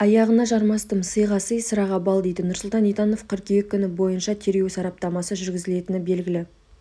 аяғына жармастым сыйға сый сыраға бал дейді нұрсұлтан итанов қыркүйек күні бойынша тергеу сараптамасы жүргізілетіні белгілі